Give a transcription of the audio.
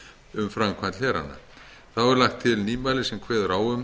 um framkvæmd hlerana þá er lagt til nýmæli sem kveður á um